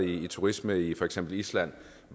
i turisme i for eksempel island